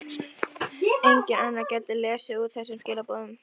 Enginn annar gæti lesið úr þessum skilaboðum.